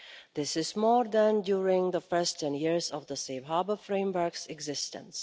This is more than during the first 10 years of the Safe Harbour framework's existence.